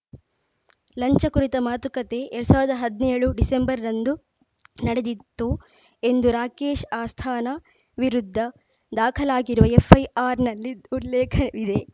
ಲಂಚ ಕುರಿತ ಮಾತುಕತೆ ಎರಡ್ ಸಾವಿರದ ಹದ್ನೇಳು ಡಿಸೆಂಬರ್ರಂದು ನಡೆದಿತ್ತು ಎಂದು ರಾಕೇಶ್‌ ಅಸ್ಥಾನಾ ವಿರುದ್ಧ ದಾಖಲಾಗಿರುವ ಎಫ್‌ಐಆರ್‌ನಲ್ಲಿ ಉಲ್ಲೇಖವಿದೆ